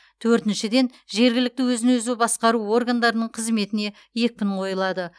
төртіншіден жергілікті өзін өзі басқару органдарының қызметіне екпін қойылады